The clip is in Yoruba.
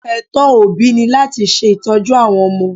Ẹ̀tọ́ òbí ni láti ṣe ìtọ́jú àwọn ọmọ.